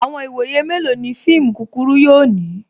Awọn iwọye melọ ni fíìmù kúkúrù yóò ni?